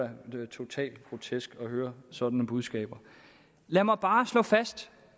er da totalt grotesk at høre sådan nogle budskaber lad mig bare slå fast